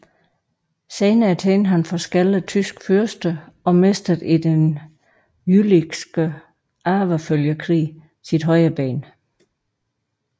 Senere tjente han forskellige tyske fyrster og mistede i Den Jülichske Arvefølgekrig sit højre ben